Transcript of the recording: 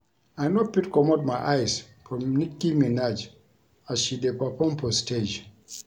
I no fit comot my eyes from Nicki Minaj as she dey perform for stage